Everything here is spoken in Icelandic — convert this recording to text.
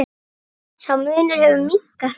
Sá munur hefur minnkað hratt.